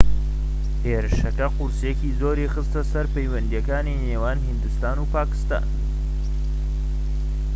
هێرشەکە قورسییەکی زۆری خستە سەر پەیوەندیەکانی نێوان هیندستان و پاکستان